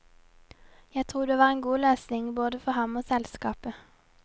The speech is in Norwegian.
Jeg tror det var en god løsning både for ham og selskapet.